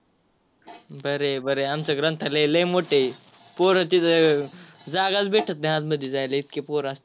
बर आहे बर आहे आमच ग्रंथालय लय मोठा आहे. पोर तिथ जागाच भेटत नाही आतमध्ये जायला इतकी पोर असत्यात.